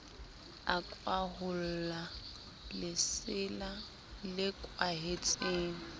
a kwaholla lesela le kwahetseng